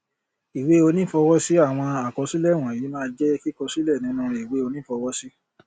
ìwé onífọwọsí àwọn àkọsílẹ wọnyìí máa jẹ kíkọ sílẹ sínú ìwé onífọwọsí